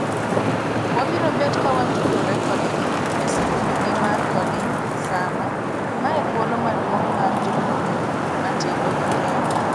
Wabiro bet kawatudre kodgi e sikundgi mar Coding Summer, mae thuolo maduong'mar jopuonjre matindo e Kenya.